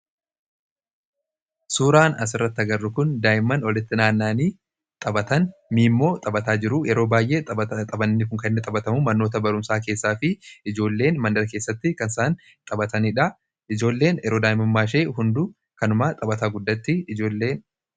Suuraan asirratti agarru kun daa'imman walitti naanna'anii taphatan miimmoo taphataa jiru. Yeroo baay'ee taphni kun kan inni taphatamu manoota barumsaa keessaa fi ijoolleen mandara keessatti kan isaan taphatanidha. Ijoolleen yeroo daa'imummaa ishee hunduu kanuma taphataa guddatti ijoolleen.